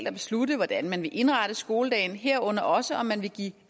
at beslutte hvordan man vil indrette skoledagen herunder også om man vil give